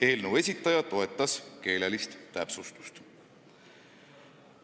Eelnõu esitaja toetas seda täpsustust.